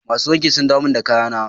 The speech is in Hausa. Masu wanki sun dawo min da kayana.